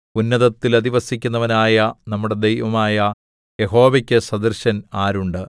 ഉന്നതത്തിൽ അധിവസിക്കുന്നവനായ നമ്മുടെ ദൈവമായ യഹോവയ്ക്കു സദൃശൻ ആരുണ്ട്